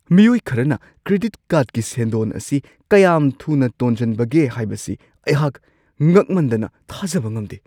ꯃꯤꯑꯣꯏ ꯈꯔꯅ ꯀ꯭ꯔꯦꯗꯤꯠ ꯀꯥꯔꯗꯀꯤ ꯁꯦꯟꯗꯣꯟ ꯑꯁꯤ ꯀꯌꯥꯝ ꯊꯨꯅ ꯇꯣꯖꯟꯕꯒꯦ ꯍꯥꯏꯕꯁꯤ ꯑꯩꯍꯥꯛ ꯉꯛꯃꯟꯗꯅ ꯊꯥꯖꯕ ꯉꯝꯗꯦ ꯫